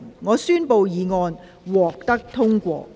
我宣布議案獲得通過。